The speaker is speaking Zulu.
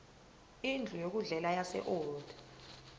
indlu yokudlela yaseold